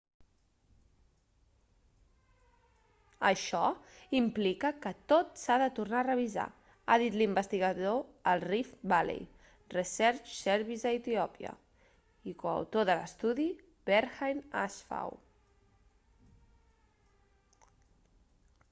això implica que tot s'ha de tornar a revisar ha dit l'investigador al rift valley research service a etiòpia i coautor de l'estudi berhane asfaw